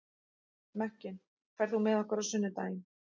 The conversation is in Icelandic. Mekkin, ferð þú með okkur á sunnudaginn?